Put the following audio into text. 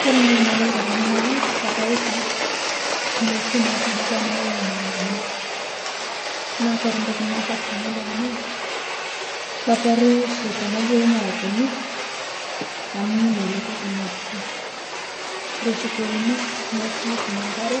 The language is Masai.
Kore ntoki nadolita tenee ng'oji naa kadolita ntokitin natubulutwa naua maragweni, naa kore ntoki naparuu tanadol anaa kaparuu shii tonobulu maragweni amuu nejako eiko tonobulu, koreshi pouni notum nkare